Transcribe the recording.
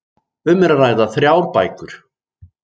Um er að ræða þrjár bækur